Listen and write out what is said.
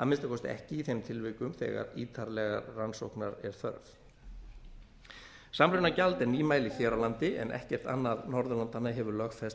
að minnsta kosti ekki í þeim tilvikum þegar ítarlegrar rannsóknar er þörf samrunagjald er nýmæli hér á landi en ekkert annað norðurlandanna hefur lögfest